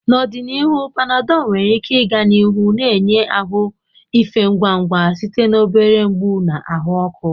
N'ọdịnihu, Panadol nwere ike ịga n'ihu na-enye ahụ efe ngwa ngwa site na obere mgbu na ahụ ọkụ.